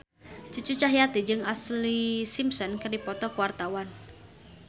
Cucu Cahyati jeung Ashlee Simpson keur dipoto ku wartawan